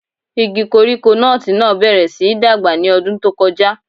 Igi koríko nọ́ọ̀tì náà bẹ̀rẹ̀ síi dàgbà ní ọdún tó kọjá.